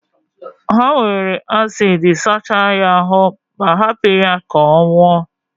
ha were acidi sachaa ya aru ma, hapụ ya ka ọ nwụọ.